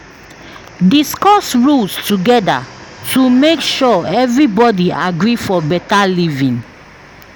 Discuss rules together to make sure everybody agree for better living.